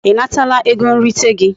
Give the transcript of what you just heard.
I natala ego nrite gi?